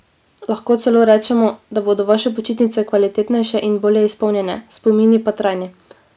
Lahko celo rečemo, da bodo vaše počitnice kvalitetnejše in bolje izpolnjene, spomini pa trajni!